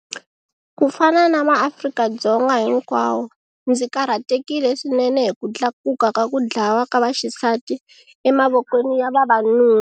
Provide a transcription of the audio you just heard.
Ku fana na maAfrika-Dzonga hinkwawo, ndzi karhatekile swinene hi ku tlakuka ka ku dlawa ka vaxisati emavokweni ya vavanuna.